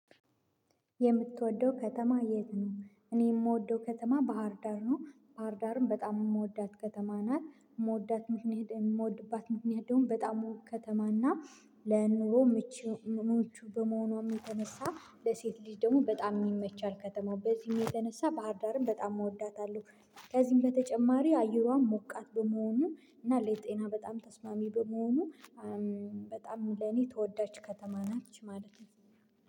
የምትወደው ከተማ የት ነው? እኔ የምወደው ከተማ ባህርዳር ነው ባህርዳርም በጣም የምወዳት ከተማ ናት ምወዳት ምክንያት የምወድባት ምክንያቶም በጣም ከተማ እና ለኑሮ ምቹ ምቹ በመሆኗ የሚተነሳ ለሴት ልጅ ደግሞ በጣም ይመቻል ከተማው በዚህም የተነሳ ባህርዳርን በጣም እወዳታለሁ። ከዚህም በተጨማሪ አየሯም ሞቃት በመሆኑ እና ለጤና በጣም ተስማሚ በመሆኑ በጣም ለኔ ተወዳጅ ከተማ ናት ማለት ነው